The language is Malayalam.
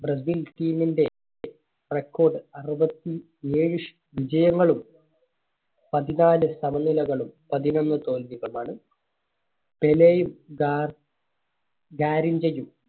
ബ്രസീൽ team ന്റെ record അറുപത്തി ഏഴ് ഷ് വിജയങ്ങളും, പതിനാല് സമനിലകളും, പതിനൊന്ന് തോൽവികളുമാണ്. പെലെയും ഗാർ ഗാരിഞ്ചയും